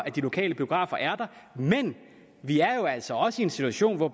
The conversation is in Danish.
at de lokale biografer er der men vi er jo altså også i en situation hvor